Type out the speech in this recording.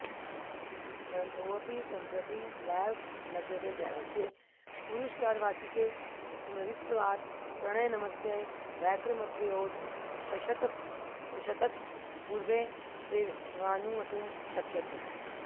ग्रन्थोऽपि सम्प्रति नैव लभ्यते दैवस्य पुरुषकारवातिके स्मृतत्वात् प्रणयनमस्य वैक्रमत्रयोदशशतकपूर्वेत्येवानुमातुं शक्यते